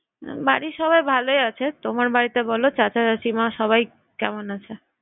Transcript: বাড়ির সবাই ভালোই আছে। তোমার বাড়িতে বলো চাচা চাচিমা সবাই কেমন আছে?